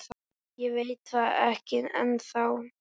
Ég veit það ekki ennþá.